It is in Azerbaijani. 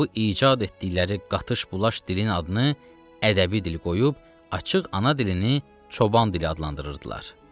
Və bu icad etdikləri qatış-bulaş dilin adını ədəbi dil qoyub açıq ana dilini çoban dili adlandırırdılar.